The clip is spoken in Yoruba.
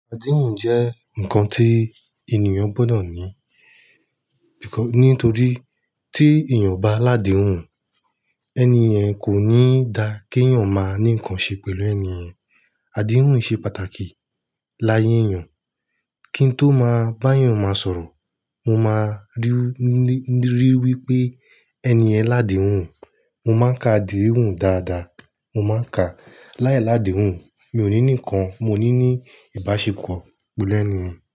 Adéhùn jẹ́ ǹkan tí ènìyàn gbọ́dọ̀ ní. Nítorí tí ènìyàn obá ládèhùn, ẹni ẹ̀ kò ní da kí èeyàn máa ní ǹkan ṣe pẹ̀lú ènìyen. Adéhùn ṣe pàtàkì láyé èeyàn. Kí n tó máa bá ènìyàn máa sọ̀rọ̀, mo máa rí i wí pé ẹni yẹ̀ń ládèhùn. Mo máa ń ka adéhùn dáadáa. Mo máa ń ka. Láì ládèhùn, mi ò ní ní ǹkan, mo ní ní ìbáṣepọ̀ pẹ̀lú ènìyàn.